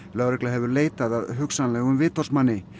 lögregla hefur leitað að hugsanlegum vitorðsmanni